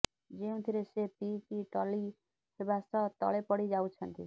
ଯେଉଁଥିରେ ସେ ପିଇ କି ଟଲି ହେବା ସହ ତଳେ ପଡିଯାଉଛନ୍ତି